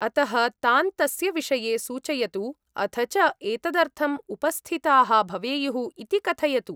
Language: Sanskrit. -अतः तान् तस्य विषये सूचयतु अथ च एतदर्थम् उपस्थिताः भवेयुः इति कथयतु।